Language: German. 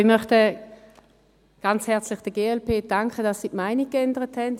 Ja, ich möchte der glp ganz herzlich danken, dass sie ihre Meinung geändert hat.